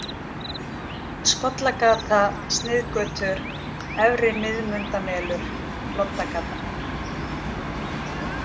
Skollagata, Sniðgötur, Efri-Miðmundamelur, Loddagata